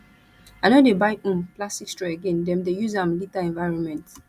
i no dey buy um plastic straw again dem dey use am litter environment